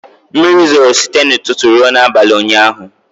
Mmiri zoro site n'ụtụtụ ruo n'abalị ụnyaahụ.